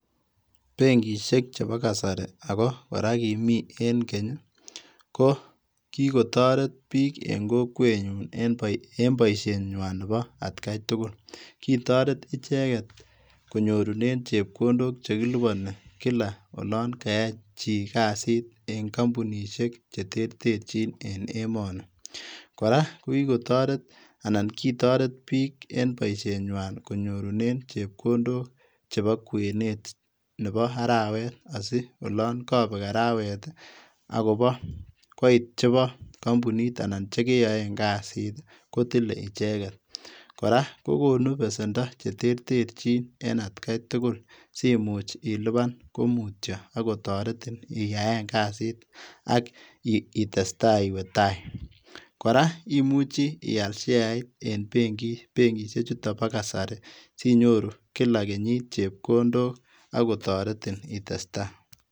Benkishek chebo kasari ako korak kimii en Keny ko kikotoret biik en kokwenyun en boishenywan nebo atkai tugul, kitoret icheket konyorunen chepkondok chekiliponi kilak olon kayai chii kasit en kompunishek cheterterchin en emoni, kora kokikotoret anan kitoret biik en boishenywan konyorunen chepkondok chepo kwenet nepo arawet asiolon kobek arawet akopo koit chepo kombunit anan ko chekeyoen kasit kotile icheket, kora kokonu besendo cheterterchin en atkai tugul simuch iliban komutyo akotoretin iyaen kasit ak itestaa iwee tai, kora imuchi ial sheait benkishechuton bo kasari kilak kenyit chebkondok akotoretin itestaa.